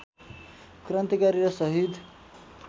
क्रान्तिकारी र सहीद